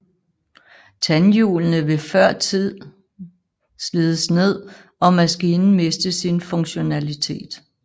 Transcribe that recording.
Tandhjulene vil førtidig slides ned og maskinen miste sin funktionalitet